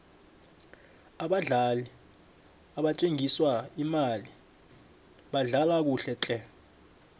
abadlali nabathenjiswe imali badlala kuhle tle